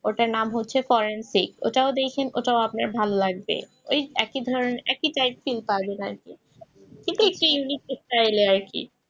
ওটার নাম হচ্ছে forensic ওটাও দেখেন ওটাও আপনার ভালো লাগবে ওই একই ধরনের একই type র feel পাবেন আর কি কিন্তু একটু unique style এর আরকি